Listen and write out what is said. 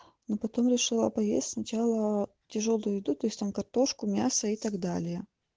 ну потом решила поесть сначала тяжёлую еду то есть там картошку мясо и так далее